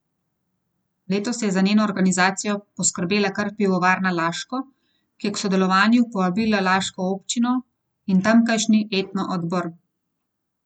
Letos je za njeno organizacijo poskrbela kar Pivovarna Laško, ki je k sodelovanju povabila laško občino in tamkajšnji etno odbor.